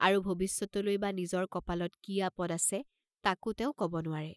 আৰু ভবিষ্যতলৈ বা নিজৰ কপালত কি আপদ আছে, তাকো তেওঁ কব নোৱাৰে।